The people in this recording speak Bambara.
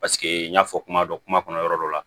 Paseke n y'a fɔ kuma dɔ kuma kɔnɔ yɔrɔ dɔ la